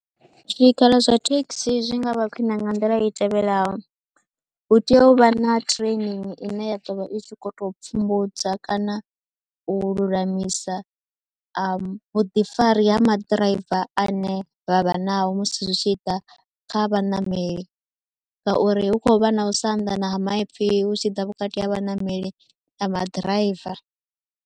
Zwikhala zwa thekhisi zwi nga vha khwine nga nḓila i tevhelaho, hu tea u vha na training ine ya ḓo vha i tshi khou tou pfhumbudza kana u lulamisa a vhuḓifari ha maḓiraiva ane vha vha nao musi zwi tshi ḓa kha vhaṋameli ngauri hu khou vha na u sa anḓana ha maipfhi hu tshi ḓa vhukati ha vhaṋameli na maḓiraiva.